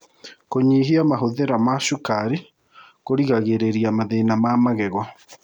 Kũnyĩhĩa mahũthĩra ma cũkarĩ kũrĩgagĩrĩrĩa mathĩna ma magego